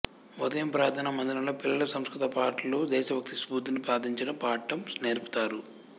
ఉదయం ప్రార్థనా మందిరం లో పిల్లలు సంస్కృత పాటలు దేశభక్తి స్ఫూర్తిని ప్రార్థించడం పాడటం నేర్పుతారు